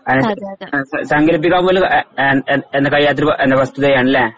സങ്കല്പിക്കാൻപോലും എ എ എഎന്നെ കഴിയാത്തൊരു വസ്തുതയാണല്ലേ